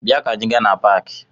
Bịa ka anị gaa na paakị!